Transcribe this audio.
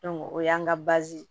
o y'an ka